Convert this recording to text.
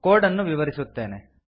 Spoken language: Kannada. ಕೋಡ್ ಅನ್ನು ವಿವರಿಸುತ್ತೇನೆ